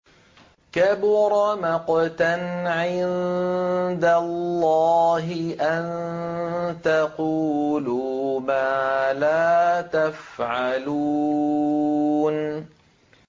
كَبُرَ مَقْتًا عِندَ اللَّهِ أَن تَقُولُوا مَا لَا تَفْعَلُونَ